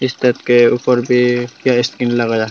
इस छत के ऊपर भीं क्या लगाया है।